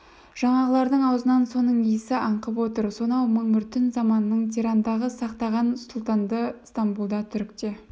жаңағылардың аузынан соның иісі аңқып отыр сонау мың бір түн заманының тирандығын сақтаған сұлтанды стамбулда түрікте